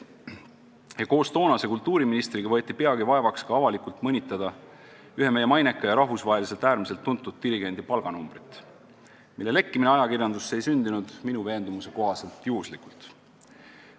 Ja koos toonase kultuuriministriga võeti peagi vaevaks ka avalikult mõnitada ühe meie maineka ja rahvusvaheliselt ülimalt tuntud dirigendi palganumbrit, mille lekkimine ajakirjandusse ei sündinud minu veendumuse kohaselt juhuslikult.